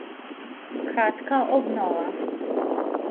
Kratka obnova.